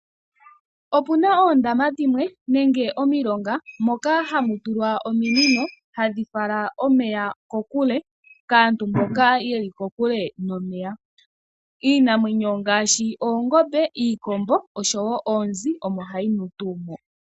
Opuna oondama dhimwe nenge omilonga moka ha mu tulwa ominino hadhi fala omeya ko kule kaantu mboka ye li kokule nomeya. Iinamwenyo ngaashi oongombe, iikombo, osho woo oonzi omo ha yi nu tuu